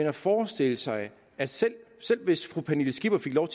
at forestille sig at selv hvis fru pernille skipper fik lov